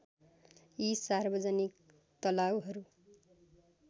यी सार्वजनिक तलाउहरू